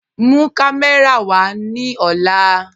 Mú kàmẹ̀rà wa ni ọ̀là